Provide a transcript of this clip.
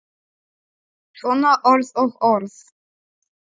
Svona orð og orð.